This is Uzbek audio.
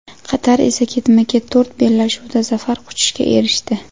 Qatar esa ketma-ket to‘rt bellashuvda zafar quchishga erishdi.